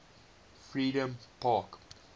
freedompark